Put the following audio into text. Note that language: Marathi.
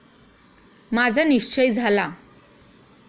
माझा निश्चय झाला.